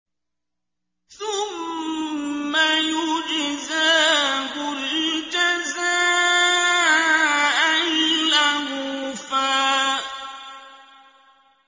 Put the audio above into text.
ثُمَّ يُجْزَاهُ الْجَزَاءَ الْأَوْفَىٰ